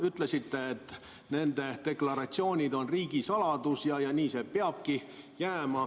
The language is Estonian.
Ütlesite, et nende deklaratsioonid on riigisaladus ja nii see peabki jääma.